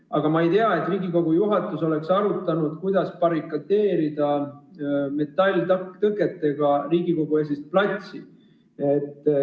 Aga ma ei tea, et Riigikogu juhatus oleks arutanud, kuidas barrikadeerida metalltõketega Riigikogu-esist platsi.